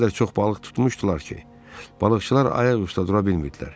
O qədər çox balıq tutmuşdular ki, balıqçılar ayaq üstə dura bilmirdilər.